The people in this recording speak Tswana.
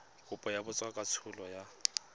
kopo ya botsadikatsholo e yang